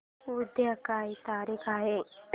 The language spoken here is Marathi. उद्या काय तारीख आहे